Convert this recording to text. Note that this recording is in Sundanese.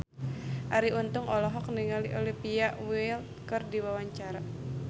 Arie Untung olohok ningali Olivia Wilde keur diwawancara